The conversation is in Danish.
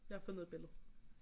jeg har fundet et billede